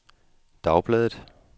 dagbladet